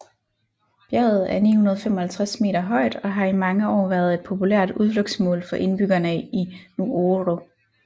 Bjerget er 955 meter højt og har i mange år været et populært udflugtsmål for indbyggerne i Nuoro